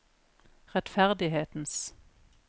rettferdighetens